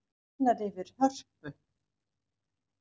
Lifnar yfir Hörpu